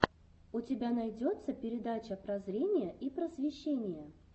у тебя найдется передача прозрения и просвещения